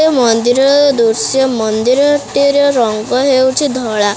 ଏ ମନ୍ଦିରର ଦୃଶ୍ୟ ମନ୍ଦିରଟିର ରଙ୍ଗ ହେଉଛି ଧଳା।